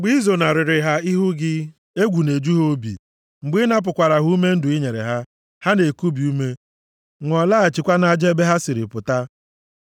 Mgbe i zonarịrị ha ihu gị, egwu na-eju ha obi. Mgbe ị napụkwara ha ume ndụ i nyere ha, ha na-ekubi ume, nwụọ, laghachikwa nʼaja ebe ha siri pụta.